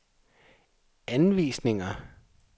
anvisninger